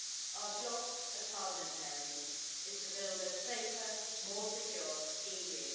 Our job as parliamentarians is to build a safer, more secure, EU.